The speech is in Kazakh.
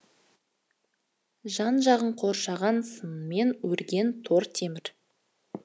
жан жағын қоршаған сыммен өрген тор темір